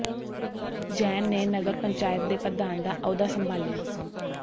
ਜੈਨ ਨੇ ਨਗਰ ਪੰਚਾਇਤ ਦੇ ਪ੍ਰਧਾਨ ਦਾ ਅਹੁਦਾ ਸੰਭਾਲਿਆ